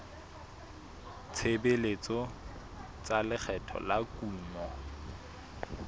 tshebetso tsa lekgetho la kuno